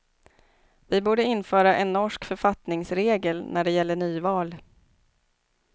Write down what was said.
Vi borde införa en norsk författningsregel när det gäller nyval.